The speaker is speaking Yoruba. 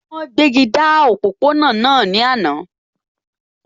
Wọ́n gbéji dá òpópó-ọ̀nà náà ní àná